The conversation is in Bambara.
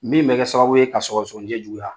Min bɛ kɛ sababu ye ka sɔgɔsɔgɔni jɛ juguya.